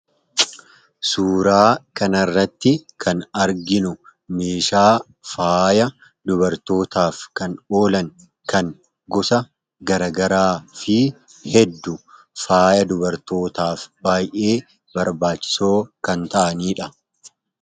Suuraa kana irratti kan arginu meeshaa faaya dubartootaaf kan oolan kan gosa garaa garaa fi hedduu faaya dubartootaaf baay'ee barbaachisoo kan ta'aniidha.